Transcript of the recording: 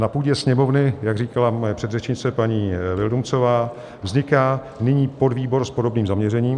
Na půdě Sněmovny, jak říkala moje předřečnice, paní Vildumetzová, vzniká nyní podvýbor s podobným zaměřením.